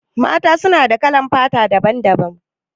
Mata su na da kalan fata daban-daban.